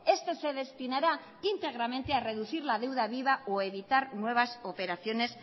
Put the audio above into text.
este se destinará íntegramente a reducir la deuda viva o a evitar nuevas operaciones